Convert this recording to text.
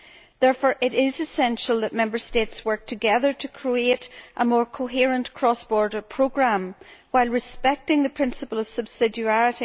Therefore, it is essential that Member States work together to create a more coherent cross border programme while respecting the principle of subsidiary.